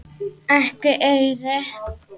Ekki eyri.